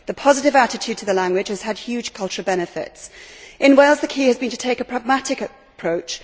The positive attitude to the language has had huge cultural benefits. In Wales, the key has been to take a pragmatic approach.